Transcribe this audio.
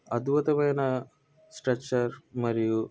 అద్భుతమైన స్ట్రెచర్ మరియు--